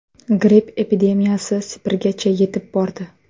Gripp epidemiyasi Sibirgacha yetib bordi.